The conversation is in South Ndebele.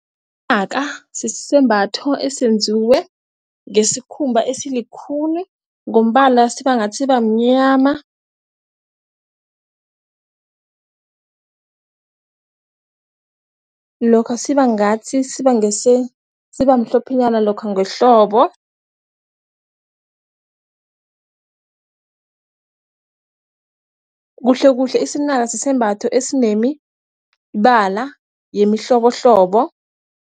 Inaka sisembatho esenziwe ngesikhumba esilikhuni, ngombala sibangathi sibamnyama lokha sibangathi sibamhlophenyana lokha ngehlobo kuhlekuhle, isinaka sisembatho esinemibala yemihlobohlobo.